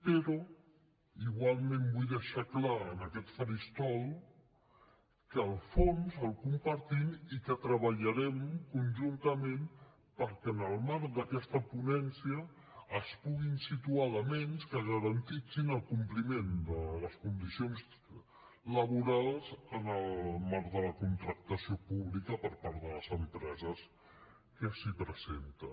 però igualment vull deixar clar en aquest faristol que el fons el compartim i que treballarem conjuntament perquè en el marc d’aquesta ponència es puguin situar elements que garanteixin el compliment de les condicions laborals en el marc de la contractació pública per part de les empreses que s’hi presenten